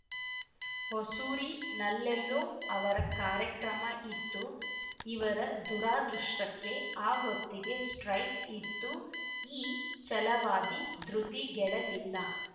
ಹೊಸೂರಿನಲ್ಲೆಲ್ಲೋ ಅವರ ಕಾರ್ಯಕ್ರಮ ಇತ್ತು ಇವರ ದುರಾದೃಷ್ಟಕ್ಕೆ ಆ ಹೊತ್ತಿಗೆ ಸ್ಟ್ರೈಕ್‌ ಇತ್ತು ಈ ಛಲವಾದಿ ಧೃತಿಗೆಡಲಿಲ್ಲ